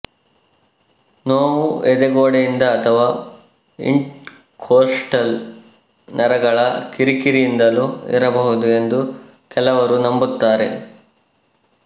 ನೋವು ಎದೆಗೋಡೆಯಿಂದ ಅಥವಾ ಇಂಟರ್ಕೊಸ್ಟಲ್ ನರಗಳ ಕಿರಿಕಿರಿಯಿಂದಲೂ ಇರಬಹುದು ಎಂದು ಕೆಲವರು ನಂಬುತ್ತಾರೆ